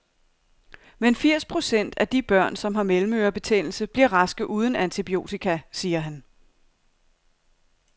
Men firs procent af de børn, som har mellemørebetændelse, bliver raske uden antibiotika, siger han.